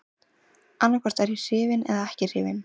Annaðhvort er ég hrifinn eða ekki hrifinn.